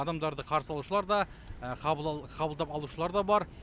адамдарды қарсы алушылар да қабылдап алушылар да бар